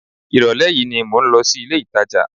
Ìrọ̀lẹ́ yìí ni mò ń lọ sí ilé-ìtàjà